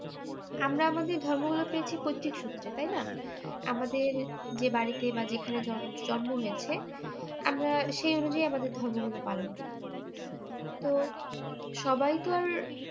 আমরা আমাদের ধর্মগুলো পেয়েছি পৈত্রিক সূত্রে তাই না? আমাদের যে বাড়িতে বা যেখানে জন~জন্ম হয়েছে আমরা সেই অনুযায়ী আমাদের ধর্মগুলো পালন করি তো সবাই তো আর